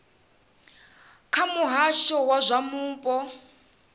kha muhasho wa zwa mupo